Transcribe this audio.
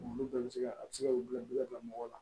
Olu bɛɛ bɛ se ka a bɛ se ka wulu bila mɔgɔ la